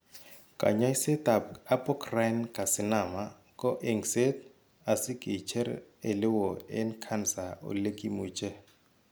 Kanyaiset ab apocrine carcinama ko engset asi kicher ele woo en cancer olegimuche